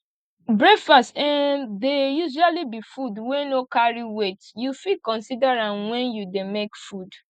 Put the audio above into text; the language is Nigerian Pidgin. breakfast um dey usually be food wey no carry weight you fit consider am when you dey make food